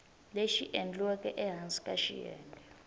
lexi endliweke ehansi ka xiyenge